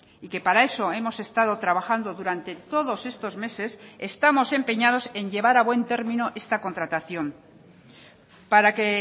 y que para eso hemos estado trabajando durante todos estos meses estamos empeñados en llevar a buen término esta contratación para que